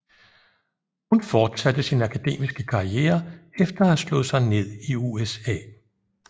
Hun fortsatte sin akademiske karriere efter at have slået sig ned i USA